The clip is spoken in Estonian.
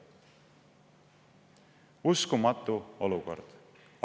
" Uskumatu olukord!